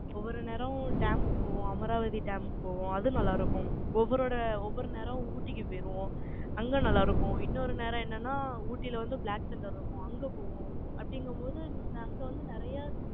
ஒவ்வொரு நேரமும் dam க்கு போவோம். அமராவதி dam க்கு போவோம். அதுவும் நல்லா இருக்கும். ஒவ்வொருயோட ஒவ்வொரு நேரம் ஊட்டிக்கு போயிடுவோம். அங்க நல்லா இருக்கும். இன்னொரு நேரம் என்னன்னா, ஊட்டியில வந்து black thunder இருக்கும் அங்க போவோம். அப்படிங்கும்போது, அங்க வந்து நிறைய,